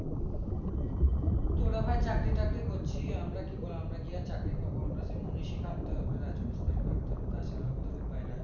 তোরা আবার চাকরি টাকরি করছিস আমরা কি আমরা কি আর চাকরি পাবো আমরা সেই তা ছারা আমাদের উপায়ে নেই